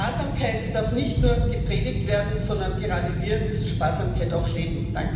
Sparsamkeit darf nicht nur gepredigt werden, sondern gerade wir müssen Sparsamkeit auch leben.